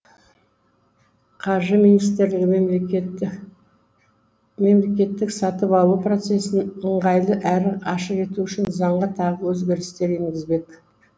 қаржы министрлігі мемлекеттік сатып алу процесін ыңғайлы әрі ашық ету үшін заңға тағы өзгерістер енгізбек